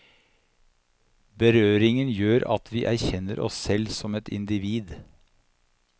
Berøringen gjør at vi erkjenner oss selv som et individ.